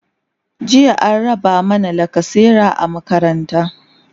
jiya an raba mana lacasera a makaranta